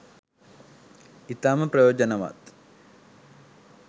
ඉතාම ප්‍රයෝජනවත්.